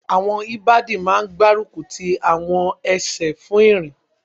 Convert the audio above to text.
Àwọn ìbàdí máa n gbárùkù ti àwọn ẹsẹ̀ fún ìrìn